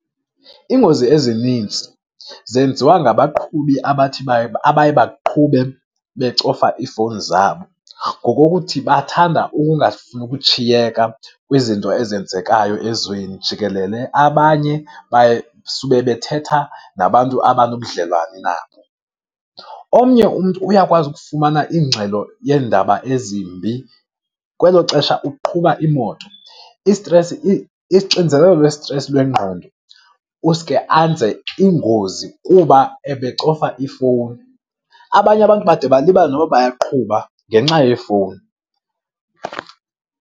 Iingozi ezininzi zenziwa ngabaqhubi abathi, abaye baqhube becofa iifowuni zabo, ngokuthi bathanda ukungafuni ukushiyeka kwizinto ezenzekayo ezweni jikelele. Abanye baye sube bethetha nabantu abanobudlelwane nabo. Omnye umntu uyakwazi ukufumana ingxelo yeendaba ezimbi, kwelo xesha uqhuba imoto. Isitresi, ixinzelelo lwesitresi lwengqondo, usuke anze ingozi kuba ebecofa ifowuni. Abanye abantu bade balibale noba bayaqhuba ngenxa yefowuni.